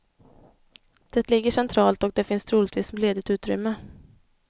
Det ligger centralt och det finns troligtvis ledigt utrymme.